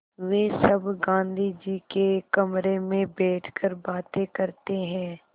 वे सब गाँधी जी के कमरे में बैठकर बातें करते हैं